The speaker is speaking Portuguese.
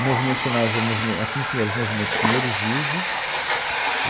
O movimento chamava o movimen, aqui em Pinheiros, o Movimento Pinheiros Vivo.